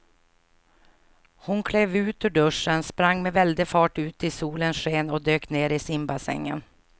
Hon klev ur duschen, sprang med väldig fart ut i solens sken och dök ner i simbassängen.